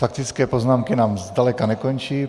Faktické poznámky nám zdaleka nekončí.